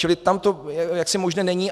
Čili tam to jaksi možné není.